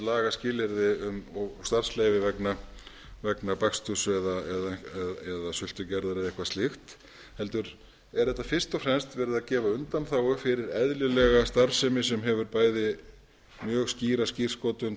lagaskilyrði og starfsleyfi vegna baksturs eða sultugerðar eða eitthvað slíkt heldur er fyrst og fremst verið að gefa undanþágu fyrir eðlilega starfsemi sem hefur bæði mjög skýra skírskotun